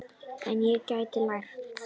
En ég get lært.